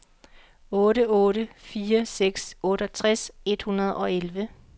otte otte fire seks otteogtres et hundrede og elleve